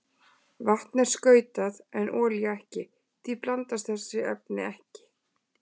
Vatn er skautað en olía ekki og því blandast þessi efni ekki.